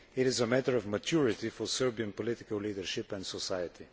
It is a matter of maturity for Serbian political leadership and society.